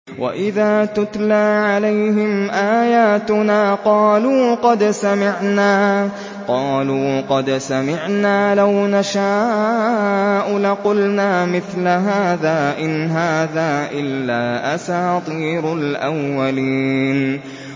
وَإِذَا تُتْلَىٰ عَلَيْهِمْ آيَاتُنَا قَالُوا قَدْ سَمِعْنَا لَوْ نَشَاءُ لَقُلْنَا مِثْلَ هَٰذَا ۙ إِنْ هَٰذَا إِلَّا أَسَاطِيرُ الْأَوَّلِينَ